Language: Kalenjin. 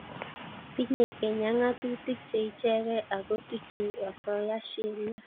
Tinyei Kenya ngatutik che ichegei ako tuchei osoya sheria